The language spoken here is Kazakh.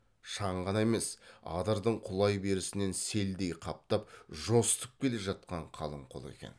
шаң ғана емес адырдың құлай берісінен селдей қаптап жосытып келе жатқан қалың қол екен